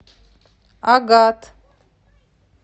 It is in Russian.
агат